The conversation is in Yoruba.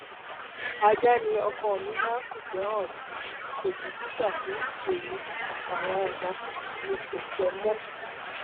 ajá ni ọkọ mi máa ń fìfẹ hàn sí kò bìkítà fún èmi àtàwọn ọmọ mi ò fẹ ẹ mọ